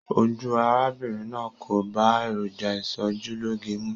Ojú arábìnrin náà kò bá èròjà ìsòjúloge mu.